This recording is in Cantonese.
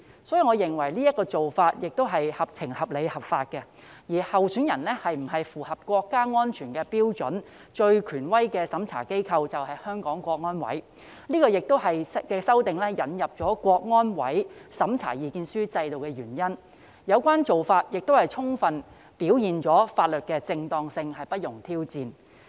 所以，我認為這做法是合情、合理、合法，而候選人是否符合國家安全標準，最權威的審查機構就是香港國安委，這也是在修訂中引入香港國安委審查意見書制度的原因，有關做法亦充分表現了法律的正當性不容挑戰。